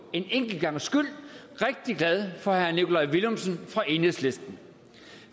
en enkelt gangs skyld rigtig glad for herre nikolaj villumsen fra enhedslisten